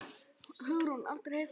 Hugrún: Aldrei heyrt þess getið?